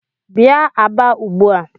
Bia Aba ugbu a!